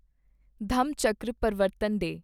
ਧੰਮਚੱਕਰ ਪ੍ਰਵਰਤਨ ਡੇ